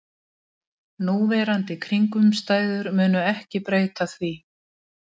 Núverandi kringumstæður munu ekki breyta því